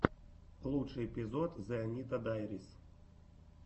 лучший эпизод зэ анита дайрис